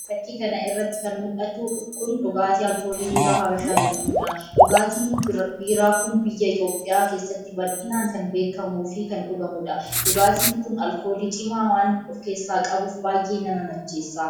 Fakii kana irratti kan mul'atu kun dhugaatii alkoolii biiraa Habashaa jedhamudha. Dhugaatiin biiraa kun biyya Itoophiyaa keessatti bal'inaan kan beekkamuu fi kan dhugamudha. dhugaatiin kun alkoolii cimaa waan of keessa qabuuf baay'ee nama macheessa.